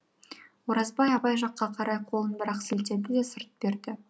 оразбай абай жаққа қарай қолын бір ақ сілтеді де сырт берді